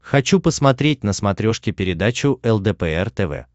хочу посмотреть на смотрешке передачу лдпр тв